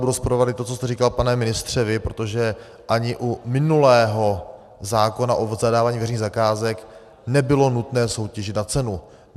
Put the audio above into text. Budu rozporovat i to, co jste říkal, pane ministře, vy, protože ani u minulého zákona o zadávání veřejných zakázek nebylo nutné soutěžit na cenu.